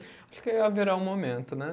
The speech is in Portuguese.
Acho que haverá o momento, né?